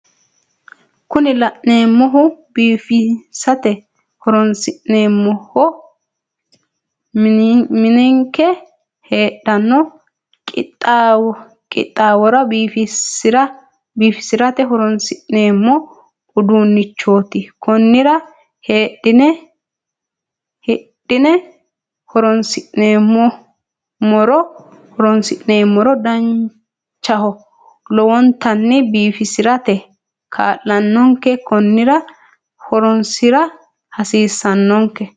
Kuni la'neemmohu biifisate horonsi'neemmoho minenke heedhanno qixxaawora biifisirate horonsi'neemmo uduunnichooti konnira hidhine horonsi'nummoro danchaho lowonttanni biifisirate kaa'lannonke konnira horonssira hasiissanonke